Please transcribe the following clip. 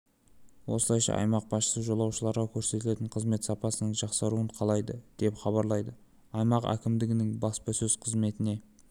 осылайша аймақ басшысы жолаушыларға көрсетілетін қызмет сапасының жақсаруын қалайды деп хабарлайды аймақ әкімдігінің баспасөз қызметіне